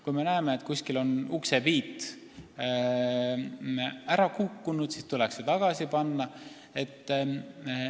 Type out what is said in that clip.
Kui me näeme, et kuskil on uksepiit ära kukkunud, siis tuleks see tagasi panna.